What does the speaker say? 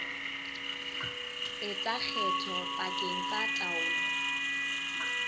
etsa kgetho pakeng tsa taolo